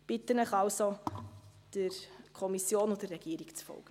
Ich bitte Sie also, der Kommission und der Regierung zu folgen.